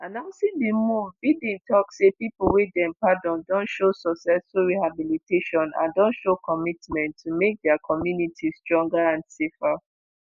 announcing di move biden tok say pipo wey dem pardon don show successful rehabilitation and don show commitment to make dia communities stronger and safer